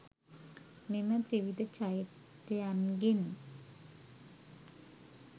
මෙම ත්‍රිවිධ චෛත්‍යයන්ගෙන්